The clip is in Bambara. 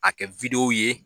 A kɛ ye